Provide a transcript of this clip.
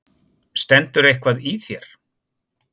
Stendur eitthvað í þér?